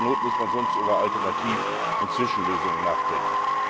Zur Not muss man sonst über Alternativ und Zwischenlösungen nachdenken.